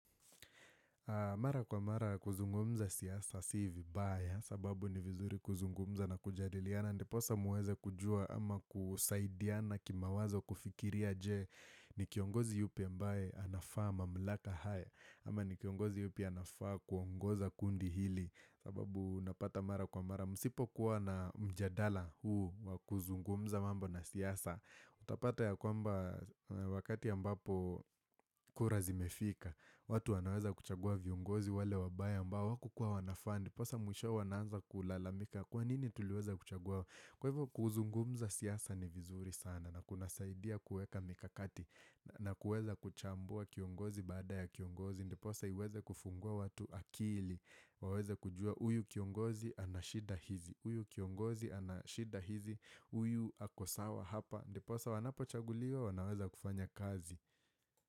Mara kwa mara kuzungumza siasa, si vibaya, sababu ni vizuri kuzungumza na kujadiliana. Ndiposa mweze kujua ama kusaidiana kimawazo kufikiria je, ni kiongozi yupi ambaye anafaa mamlaka haya. Ama ni kiongozi yupi anafaa kuongoza kundi hili, sababu napata mara kwa mara. Msipo kuwa na mjadala huu wa kuzungumza mambo na siasa, utapata ya kwamba wakati ambapo kura zimefika. Watu wanaweza kuchagua viongozi wale wabaya ambao hakukua wanafaa. Ndiposa mwishowe wanaanza kulalamika. Kwa nini tuliweza kuchagua? Kwa hivyo kuzungumza siasa ni vizuri sana na kunasaidia kueka mikakati. Na kueza kuchambua kiongozi baada ya kiongozi. Ndiposa iweze kufungua watu akili. Waweza kujua huyu kiongozi ana shida hizi. Uyu kiongozi anashida hizi. Uyu ako sawa hapa. Ndiposa wanapochaguliwa wanaweza kufanya kazi.